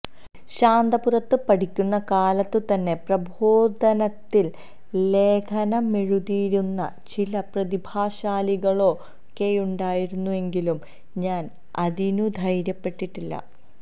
ശാന്തപുരത്ത് പഠിക്കുന്ന കാലത്തുതന്നെ പ്രബോധനത്തില് ലേഖനമെഴുതിയിരുന്ന ചില പ്രതിഭാശാലികളൊക്കെയുണ്ടായിരുന്നെങ്കിലും ഞാന് അതിനുധൈര്യപ്പെട്ടിട്ടില്ല